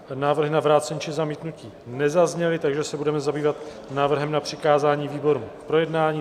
Návrhy na vrácení či zamítnutí nezazněly, takže se budeme zabývat návrhem na přikázání výborům k projednání.